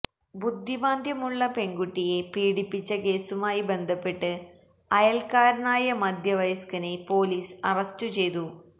ബുദ്ധിമാന്ദ്യമുള്ള പെണ്കുട്ടിയെ പീഡിപ്പിച്ച കേസുമായി ബന്ധപ്പെട്ട് അയല്ക്കാരനായ മദ്ധ്യവയസ്കനെ പൊലീസ് അറസ്റ്റ് ചെയ്തു